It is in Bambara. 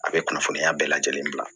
A bɛ kunnafoniya bɛɛ lajɛlen bila